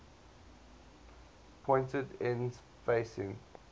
pointed ends facing